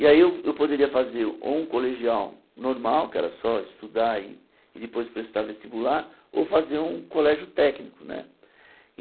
E aí eu eu poderia fazer ou um colegial normal, que era só estudar e e depois prestar vestibular, ou fazer um colégio técnico né.